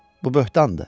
Bu böhtandır.